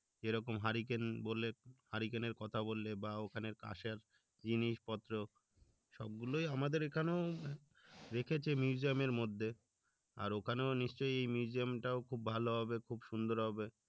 যেরকম hurricane বলে hurricane এর কথা বললে বা ওখানে কাঁসার জিনিস পত্র সব গুলো আমাদের এখানেও রেখেছে museum এর মধ্যে আর ওখানেও নিশ্চই museum টাও খুব ভালো হবে খুব সুন্দর হবে